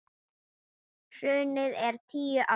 Hrunið er tíu ára.